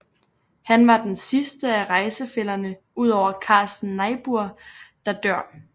Han var den sidste af rejsefællerne udover Carsten Niebuhr der dør